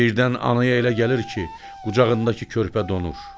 Birdən anaya elə gəlir ki, qucağındakı körpə donur.